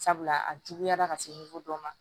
Sabula a juguyara ka se dɔ ma